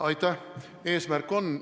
See eesmärk on.